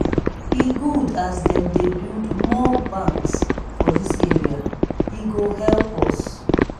e good as dem dey build more banks for dis area e go help us.